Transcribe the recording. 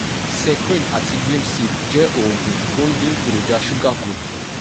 secrin àti glim save jẹ́ oògùn tó ń dín èròjà ṣúgà kù